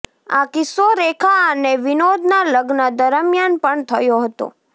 આ કિસ્સો રેખા અને વિનોદના લગ્ન દરમિયાન પણ થયો હતો